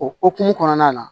O hokumu kɔnɔna na